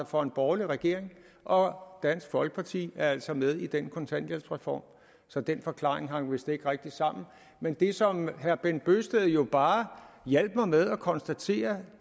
for en borgerlig regering og dansk folkeparti er altså med i den kontanthjælpsreform så den forklaring hang vist ikke rigtig sammen men det som herre bent bøgsted jo bare hjalp mig med at konstatere